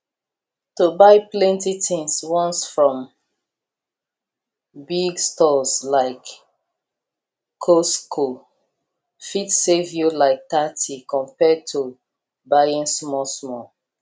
to buy plenty things once from big stores like costco fit save you like thirty compared to buying smallsmall